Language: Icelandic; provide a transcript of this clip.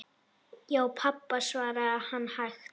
Já, pabba, svaraði hann hægt.